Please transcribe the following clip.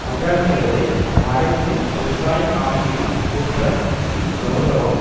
அஜாக்கிரதை மறைந்து பெருங்காயம் ஞாயிறு ஒற்றன் இஃது கெளரவம்